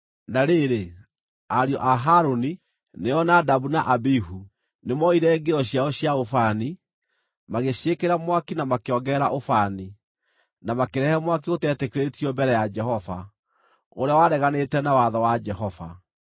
Na rĩrĩ, ariũ a Harũni, nĩo Nadabu na Abihu, nĩmoire ngĩo ciao cia ũbani, magĩciĩkĩra mwaki na makĩongerera ũbani; na makĩrehe mwaki ũteetĩkĩrĩtio mbere ya Jehova, ũrĩa wareganĩte na watho wa Jehova.